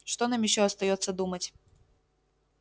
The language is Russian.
что нам ещё остаётся думать